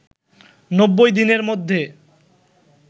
৯০ দিনের মধ্যে